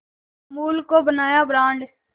अमूल को बनाया ब्रांड